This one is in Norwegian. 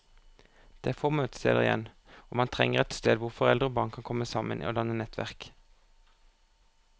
Det er få møtesteder igjen, og man trenger et sted hvor foreldre og barn kan komme sammen og danne nettverk.